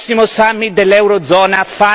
Voglio chiudere con un consiglio.